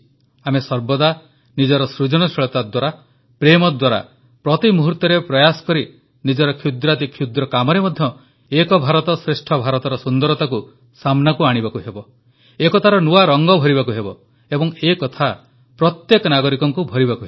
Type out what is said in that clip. ଆମେ ସର୍ବଦା ନିଜର ସୃଜନଶୀଳତା ଦ୍ୱାରା ପ୍ରେମ ଦ୍ୱାରା ପ୍ରତି ମୁହୂର୍ତ୍ତରେ ପ୍ରୟାସ କରି ନିଜର କ୍ଷୁଦ୍ରାତିକ୍ଷୁଦ୍ର କାମରେ ମଧ୍ୟ ଏକ ଭାରତଶ୍ରେଷ୍ଠ ଭାରତର ସୁନ୍ଦରତାକୁ ସାମ୍ନାକୁ ଆଣିବାକୁ ହେବ ଏକତାର ନୂଆ ରଂଗ ଭରିବାକୁ ହେବ ଏବଂ ଏକଥା ପ୍ରତ୍ୟେକ ନାଗରିକଙ୍କୁ ଭରିବାକୁ ହେବ